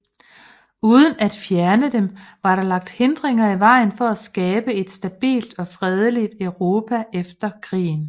Uden at fjerne dem var der lagt hindringer i vejen for at skabe et stabilt og fredeligt Europa efter krigen